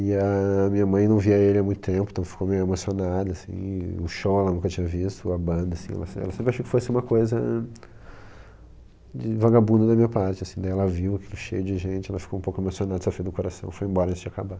E a minha mãe não via ele há muito tempo, então ficou meio emocionada, assim, o show ela nunca tinha visto, a banda, assim, ela sempre achou que fosse uma coisa de vagabundo da minha parte, assim, daí ela viu aquilo cheio de gente, ela ficou um pouco emocionada, sofreu do coração, foi embora antes de acabar lá.